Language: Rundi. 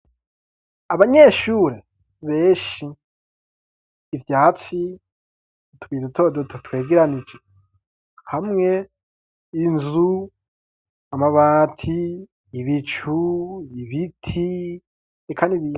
Abanyeshuri benshi, ivyatsi, utubuye dutodoto twegeranije hamwe, inzu amabati, ibicu, ibibiti eka n'ibindi.